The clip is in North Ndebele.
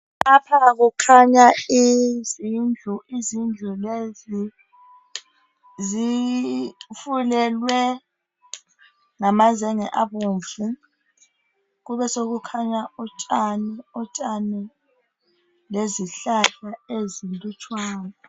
Lapha kukhanya izindlu. Izindlu lezi zifulelwe ngamazenge abomvu kube sokukhanya utshani lezihlahla ezinlutshwane.